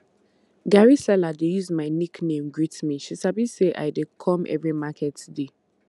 garri seller dey use my nickname greet me she sabi say i dey come every market day